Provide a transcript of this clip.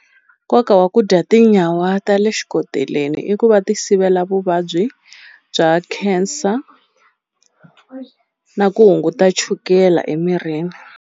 Nkoka wa ku dya tinyawa ta le xikoteleni i ku va ti sivela vuvabyi bya cancer na ku hunguta chukela emirini.